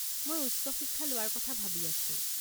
মই উচ্চ শিক্ষা লোৱাৰ কথা ভাবি আছো।